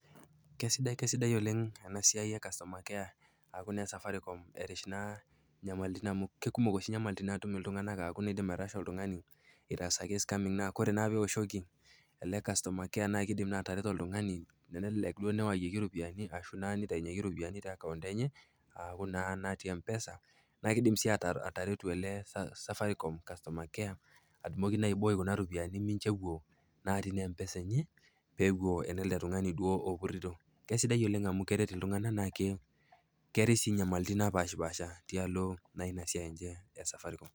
Keisidai keisaidai oleng ena siai e customer care aaku naa e Safaricom erish naa inyamalitin amu kekumok oshi inyamalitin naatum iltung'ana aaku keidim airasha oltung'ani, eitaasaki skaming naa kore naa peioshoki ele customer care naa keidim naa atereto oltung'ani tenelelek duo neayieki iropiani ashu naa neitaiyeki iropiani te akaont enye, aaku naa natii empesa, naa keidim sii ataretu ele Safaricom customer care atumoki naa aibooy kuna ropiani mincho ewuo natii naa emoesa enye peewuo naa enele tung'ani duo opurito. kesidai oleng' amu keret iltung'ana naake keatai sii inyamalitin naapasha tialo naa ina siai enye e Safaricom.